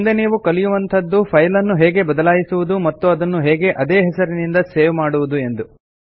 ಮುಂದೆ ನೀವು ಕಲಿಯುವಂತದ್ದು ಫೈಲ್ ನ್ನು ಹೇಗೆ ಬದಲಾಯಿಸುವುದು ಮತ್ತು ಅದನ್ನು ಹೇಗೆ ಅದೇ ಹೆಸರಿನಿಂದ ಸೇವ್ ಮಾಡುವುದು ಎಂದು